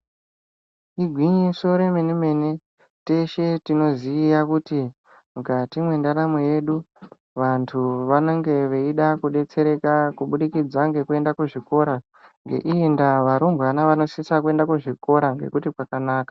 Igwinyiso remene mene , teshe tinoziya kuti mukati mendaramo yedu vantu vanenge veida kudetsereka kuburikidza nekuenda kuzvikora ,neimwe ndaa varumbwana vosisa kuenda kuzvikora nekuti kwakanaka.